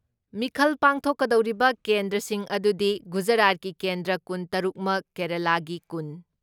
ꯃꯤꯈꯜ ꯄꯥꯡꯊꯣꯛꯀꯗꯧꯔꯤꯕ ꯀꯦꯟꯗ꯭ꯔꯁꯤꯡ ꯑꯗꯨꯗꯤ ꯒꯨꯖꯔꯥꯠꯀꯤ ꯀꯦꯟꯗ꯭ꯔꯥ ꯀꯨꯟ ꯇꯔꯨꯛꯃꯛ, ꯀꯦꯔꯦꯂꯥꯒꯤ ꯀꯨꯟ,